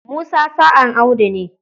Musa sa'an Audu ne.